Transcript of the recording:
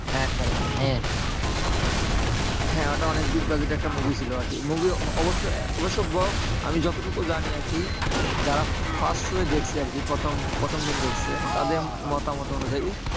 হ্যাঁ ওইটা অনেক big budget এর movie ছিল আরকি। movie অবশ্য অবশ্য box আমি যতটুকু জানি আরকি যারা first show এ দেখছে আরকি। প্রথম প্রথম দিন দেখছে তাদের মতামত অনুযায়ী,